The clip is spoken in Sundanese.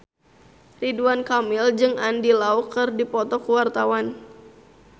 Ridwan Kamil jeung Andy Lau keur dipoto ku wartawan